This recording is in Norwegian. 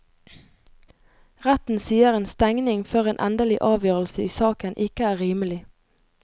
Retten sier en stengning før en endelig avgjørelse i saken ikke er rimelig.